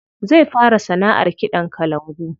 Zai fara sanaʼar kiɗan kalangu.